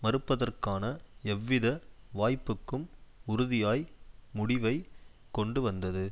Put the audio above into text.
மறுப்பதற்கான எவ்வித வாய்ப்புக்கும் உறுதியாய் முடிவைக் கொண்டு வந்தது